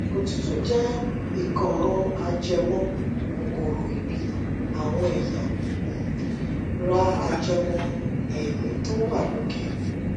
òtútù jẹ ìkóràn ajẹmọ kòkòrò ibi àwọn ẹya um ra ajẹmọ èémí tó wà lókè